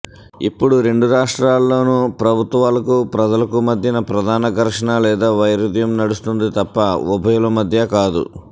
ఇప్పుడు రెండు రాష్ట్రాలలోనూ ప్రభుత్వాలకూ ప్రజలకూ మధ్యన ప్రధాన ఘర్సణ లేదా వైరుధ్యం నడుస్తుంది తప్ప ఉభయుల మధ్య కాదు